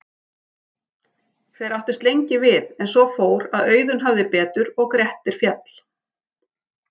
Þeir áttust lengi við en svo fór að Auðunn hafði betur og Grettir féll.